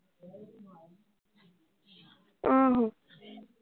ਆਹੋ।